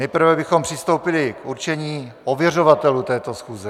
Nejprve bychom přistoupili k určení ověřovatelů této schůze.